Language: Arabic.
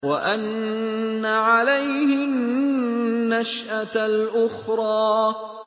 وَأَنَّ عَلَيْهِ النَّشْأَةَ الْأُخْرَىٰ